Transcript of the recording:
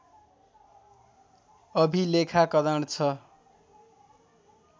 अभिलेखाकरण छ